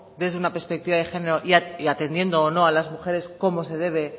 desde una perspectiva de género y atendiendo o no a las mujeres como se debe